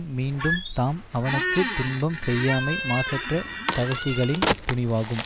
மீண்டும் தாம் அவனுக்கு துன்பம் செய்யாமை மாசற்ற தவசிகளின் துணிவாகும்